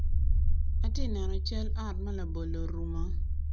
Atye neno cal ot ma labolo orumo.